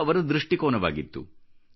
ಇದು ಅವರ ದೃಷ್ಟಿಕೋನವಾಗಿತ್ತು